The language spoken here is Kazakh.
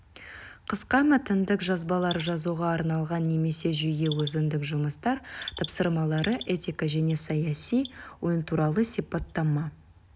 қысқа мәтіндік жазбалар жазуға арналған немесе жүйе өзіндік жұмыстар тапсырмалары этика және саяси ойынтуралы сипаттама